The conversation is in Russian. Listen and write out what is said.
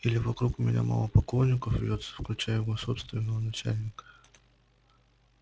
или вокруг меня мало поклонников вьётся включая его собственного начальника